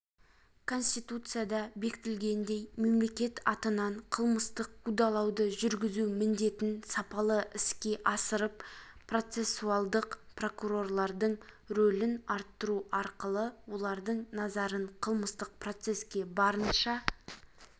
конституцияда бекітілгендей мемлекет атынан қылмыстық қудалауды жүргізу міндетін сапалы іске асырып процессуалдық прокурорлардың ролін арттыру арқылы олардың назарын қылмыстық процеске барынша